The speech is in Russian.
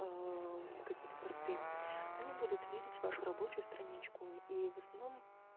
ээ какие-то посты они будут видеть вашу рабочую страничку и в основном